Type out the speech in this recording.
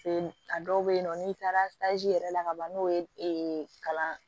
A dɔw bɛ yen nɔ n'i taara yɛrɛ la kaban n'o ye kalan